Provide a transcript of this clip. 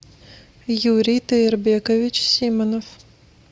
юрий таербекович симонов